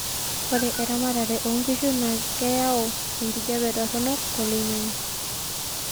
ore erematare oonkishu naa keyau enkijape toronok toloingangi